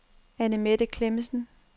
Annemette Klemmensen